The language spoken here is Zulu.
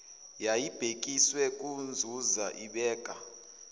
yayibhekiswe kunzuza ibeka